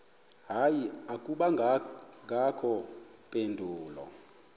hayi akubangakho mpendulo